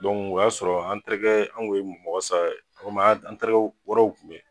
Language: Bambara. o y'a sɔrɔ an terikɛ anw kun ye mɔgɔ saba ye, walima an terikɛ wɛrɛw tun bɛ yen.